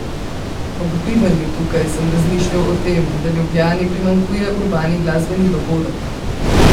Ob bivanju tukaj sem razmišljal o tem, da Ljubljani primanjkuje urbani glasbeni dogodek.